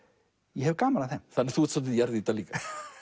ég hef gaman af þeim þannig að þú ert svolítil jarðýta líka